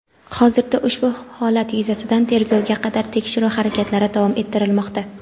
Hozirda ushbu holat yuzasidan tergovga qadar tekshiruv harakatlari davom ettirilmoqda.